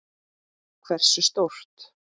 Hversu stórt?